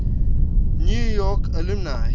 new york alumni